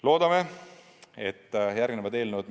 Loodame, et tulevad ka eelnõud.